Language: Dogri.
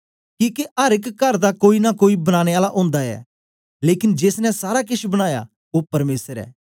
किके अर एक कर दा कोई नां कोई बनाने आला ओंदा ऐ लेकन जेस ने सारा केछ बनाया ओ परमेसर ऐ